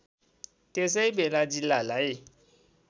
त्यसै बेला जिल्लालाई